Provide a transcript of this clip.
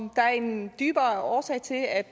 om der er en dybere årsag til at